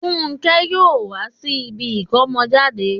Fúnkẹ́ yóò wá sí ibi ìkómọjáde